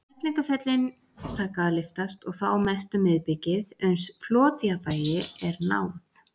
Fellingafjöllin taka að lyftast, og þá mest um miðbikið, uns flotjafnvægi er náð.